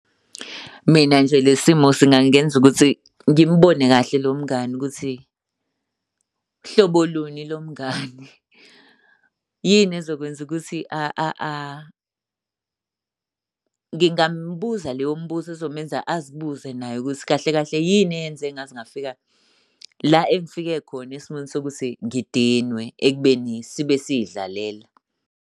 Mina nje le simo singangenza ukuthi ngimubone kahle lo mngani ukuthi hlobo luni lomngani. Yini ezokwenza ukuthi . Ngingambuza leyo mbuzo ezomenza azibuze naye ukuthi kahle kahle yini eyenze ngaze ngafika la engifike khona esimeni sokuthi ngidinwe ekubeni sibe siy'dlalela.